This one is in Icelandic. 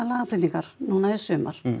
lagabreytingar núna í sumar